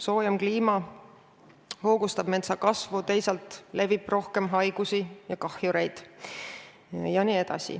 Soojem kliima hoogustab metsa kasvu, teisalt levib rohkem haigusi ja kahjureid.